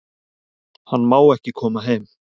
Hann má ekki koma heim